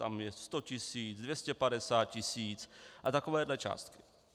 Tam je 100 tisíc, 250 tisíc a takovéto částky.